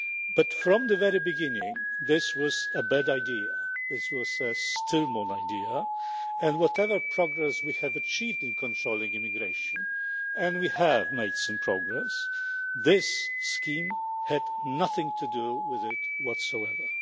But from the very beginning this was a bad idea. This was a stillborn idea, and whatever progress we have achieved in controlling immigration and we have made some progress this scheme had nothing to do with it whatsoever.